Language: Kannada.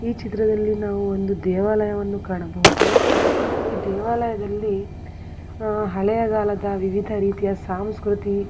ಈ ಚಿತ್ರದಲ್ಲಿ ನಾವು ಒಂದು ದೇವಾಲಯವನ್ನು ಕಾಣಬಹುದು ಈ ದೇವಾಲಯದಲ್ಲಿ ಆಹ್ ಹಳೆಯಕಾಲದ ವಿವಿಧರೀತಿಯ ಸಾಂಸ್ಕ್ರುತಿ --